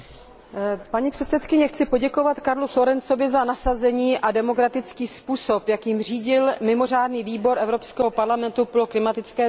Paní předsedkyně, chci poděkovat Karlu Florenzovi za nasazení a demokratický způsob, jakým řídil mimořádný výbor Evropského parlamentu pro klimatické změny.